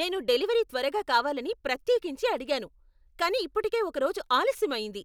నేను డెలివరీ త్వరగా కావాలని ప్రత్యేకించి అడిగాను, కానీ ఇప్పటికే ఒక రోజు ఆలస్యం అయింది!